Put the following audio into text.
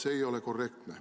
See ei ole korrektne.